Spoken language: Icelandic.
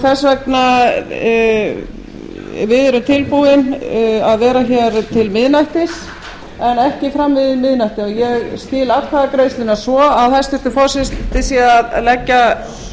þess vegna við erum tilbúin að vera hér til miðnættis en ekki fram yfir miðnætti ég skil atkvæðagreiðsluna svo að hæstvirtur forseti sé að leggja